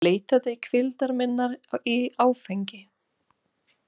Ég leitaði hvíldar minnar í áfengi.